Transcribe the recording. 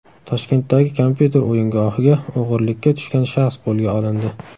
Toshkentdagi kompyuter o‘yingohiga o‘g‘irlikka tushgan shaxs qo‘lga olindi.